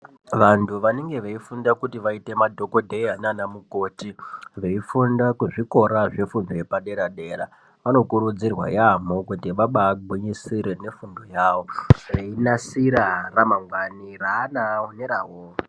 Vantu vanenge veifunda kuti vaite madhokodheya nana mukoti veifunda kuzvikora Nemityepadera vanokurudzirwa vagwinyusire veinasira mangwnani neana awo.